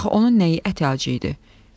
Axı onun nəyinə əti acı idi?